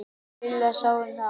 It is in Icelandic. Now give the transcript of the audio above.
Lilla sá um það.